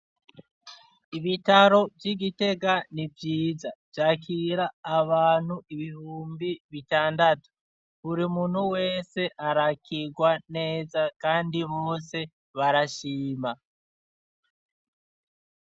Ibitaro vy'igitega nivyiza vyakira abantu ibihumbi bitandatu buri muntu wese arakigwa neza kandi bose barashima.